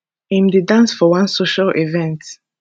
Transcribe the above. im dey dance for one social event